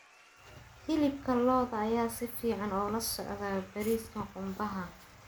Hilibka lo'da ayaa si fiican ula socda bariiska qumbaha.